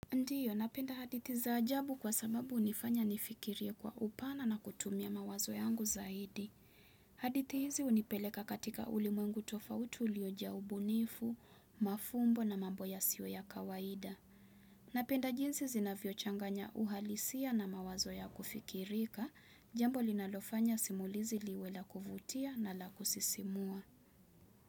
Ndiyo, napenda hadithi za ajabu kwa sababu hunifanya nifikirie kwa upana na kutumia mawazo yangu zaidi. Hadithi hizi hunipeleka katika ulimwengu tofauti uliojaa ubunifu, mafumbo na mambo yasiyo ya kawaida. Napenda jinsi zinavyo changanya uhalisia na mawazo ya kufikirika, jambo linalofanya simulizi liwe la kuvutia na la kusisimua.